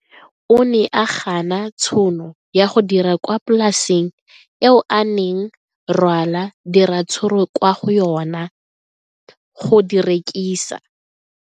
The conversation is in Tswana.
O ne a gana tšhono ya go dira kwa polaseng eo a neng rwala diratsuru kwa go yona go di rekisa.